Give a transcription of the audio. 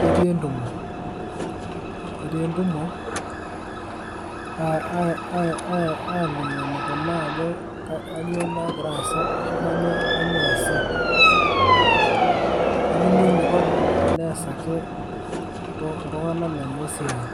ketii entumo. Ketii entumo alimu enikunaa ajo kanyioo nagira aasa ashu kanyioo eesi. Nelimu eniko teneesaki iltung'anak lenye esiai.